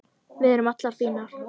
Við erum allar fínar